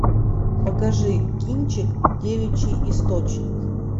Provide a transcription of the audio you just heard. покажи кинчик девичий источник